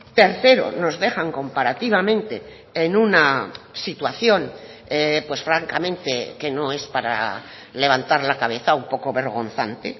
tercero nos dejan comparativamente en una situación pues francamente que no es para levantar la cabeza un poco vergonzante